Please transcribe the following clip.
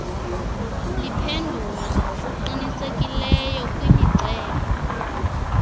liphendula ngokuqinisekileyo kwimiceli